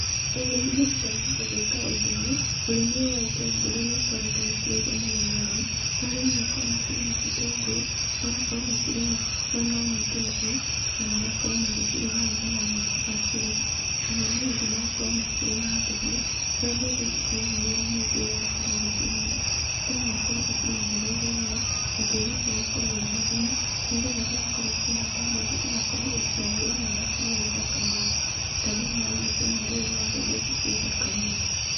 Ũrĩa niĩ ingĩruta mũndũ gwĩka ũndũ ũyũ, ũrĩmi ũyũ wa itũngũrũ nĩ ũkoretwo wĩkĩrĩirwo mũno nĩ arĩmi, kũrĩa arĩmi makoragwo makĩrĩma itũngũrũ, magakorwo makĩrĩma mwena ũmwe itũngũrũ, na magakorwo magĩcirora wega na magĩcibacĩrĩra, na mwena ũyũ ũngĩ magakorwo makĩrĩma mbembe, kũrĩa mbembe itikoragwo wĩra mũingĩ rĩrĩa wakorwo ũgĩcihanda, bata no ũkorwo ũcimenyereire wega, na tĩri ũcio ũgakorwo wĩna thumu, nĩgetha rĩrĩa wakorwo ũkĩhanda mbembe ĩgakorwo ĩkĩagĩra na ĩgakorwo ĩ thaka mũno, ta thĩiniĩ wa mbica ĩno ndĩrona mbembe ici ciĩ thaka mũno.